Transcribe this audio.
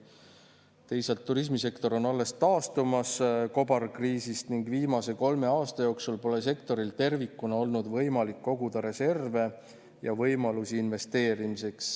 Teisalt, turismisektor on alles taastumas kobarkriisidest ning viimase kolme aasta jooksul pole sektoril tervikuna olnud võimalik koguda reserve ja võimalusi investeerimiseks.